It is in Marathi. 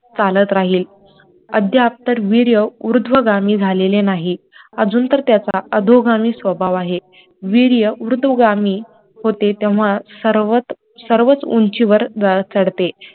चालत राहिले अद्याप तर वीर्य उर्ध्वगामी झालेले नाही अजून तर त्याचा अधोगामी स्वभाव आहे, वीर्य उर्ध्वगामी होते तेव्हा सर्वच उंचीवर चढते